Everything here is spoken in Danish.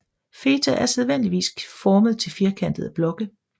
Feta er sædvanligvis formet til firkantede blokke